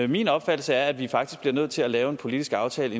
min opfattelse er at vi faktisk bliver nødt til at lave en politisk aftale